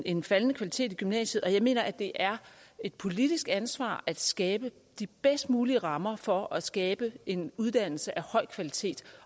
en faldende kvalitet i gymnasiet og jeg mener at det er et politisk ansvar at skabe de bedst mulige rammer for at skabe en uddannelse af høj kvalitet